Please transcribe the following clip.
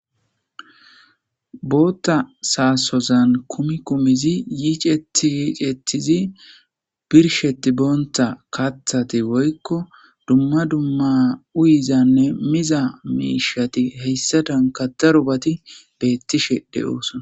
Bootta saasozan kumi kumizi yiiceti yiicethizi birsheti boonta kathati woykko dumma dumma uyizanne miza miishati heyssa dankada rubati beettishe de'oosona